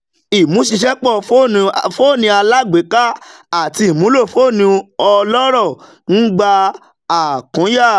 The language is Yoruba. ìmúṣiṣẹ̀pọ̀ fóní alágbèéká àti ìmúlò fóní ọlọ́rọ̀ ń gba àkúnya